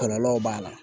Kɔlɔlɔw b'a la